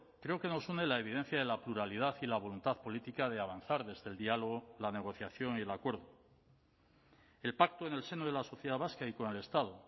creo que nos une la evidencia de la pluralidad y la voluntad política de avanzar desde el diálogo la negociación y el acuerdo el pacto en el seno de la sociedad vasca y con el estado